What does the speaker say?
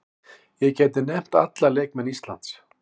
Ég gæti nefnt alla leikmenn Íslands.